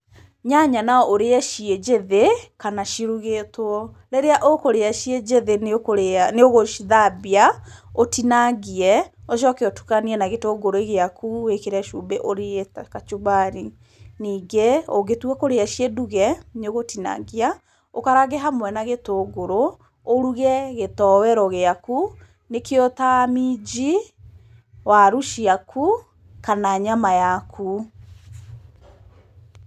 Nyanya no ũrĩe ciĩ njĩthĩ kana cirugĩtwo. Rĩrĩa ũkũrĩa ciĩ njĩthĩ nĩ ũgũcithambia, ũthinangie ũcoke ũtũkanie na gĩtũngũrũ gĩaku wĩkĩre cumbĩ ũrĩe ta kachumbali. Ningĩ, ũngĩtua kũrĩa ciĩnduge, nĩ ugũtinangia , ũkarange hamwe na gĩtũngũrũ ũruge gĩtoero gĩaku, nĩkĩo ta minji, waru ciaku, kana nyama yaku.